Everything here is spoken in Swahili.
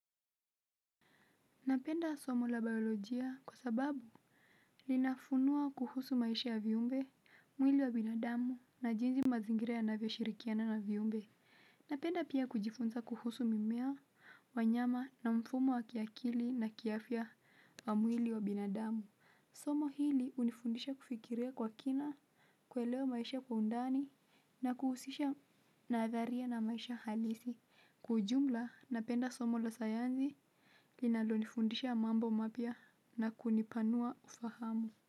Napenda somo la biolojia kwa sababu linafunua kuhusu maisha ya viumbe mwili wa binadamu na jinzi mazingira yanavyo shirikiana na viumbe napenda pia kujifunza kuhusu mimea wanyama na mfumo wa kiakili na kiafya wa mwili wa binadamu somo hili unifundisha kufikiria kwa kina kuelewa maisha kwa undani na kuhusisha nadharia na maisha halisi kwa ujumla napenda somo la sayansi kinalo nifundisha mambo mapya na kunipanua ufahamu.